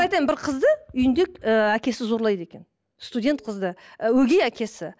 бір қызды үйінде ы әкесі зорлайды екен студент қызды ы өгей әкесі